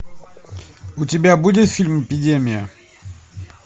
у тебя будет фильм эпидемия